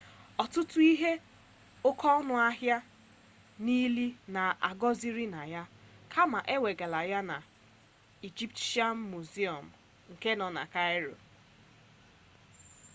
ọtụtụ ihe oke ọnụ ahia nọ n'ili a anọghịzị na ya kama e wegala ha na ijipshịan muziọm nọ na kairo